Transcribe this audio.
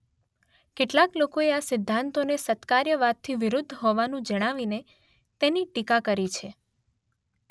કેટલાક લોકોએ આ સિદ્ધાંતોને સત્કાર્યવાદથી વિરુદ્ધ હોવાનું જણાવીને તેની ટીકા કરી છે.